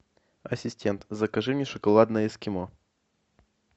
ассистент закажи мне шоколадное эскимо